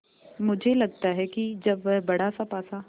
मुझे लगता है कि जब वह बड़ासा पासा